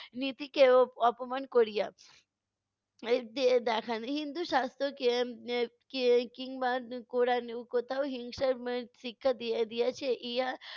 নীতিকেও অপমান করিয়া এর দে~ দেখান। হিন্দু শাস্ত্রকে এর কে কিংবা ক~ কোরানেও কোথাও হিংসার দিয়া~ দিয়েছে? ইহা